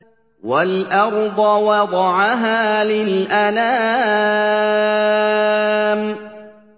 وَالْأَرْضَ وَضَعَهَا لِلْأَنَامِ